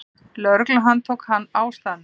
Lögregla handtók hann á staðnum.